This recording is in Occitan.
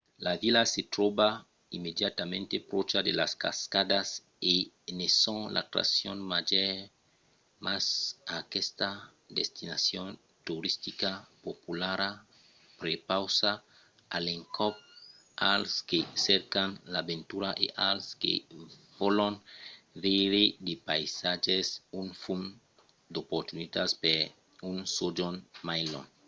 la vila se tròba immediatament pròcha de las cascadas e ne son l’atraccion màger mas aquesta destinacion toristica populara prepausa a l’encòp als que cercan l’aventura e als que vòlon veire de païsatges un fum d’oportunitats per un sojorn mai long